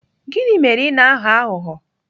Gịnị mere ị na-aghọ aghụghọ?